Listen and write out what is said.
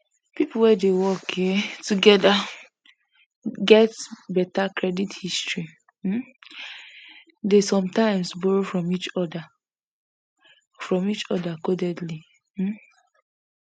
people wey dey work um together and get better credit history um dey sometimes borrow from each other from each other codedly um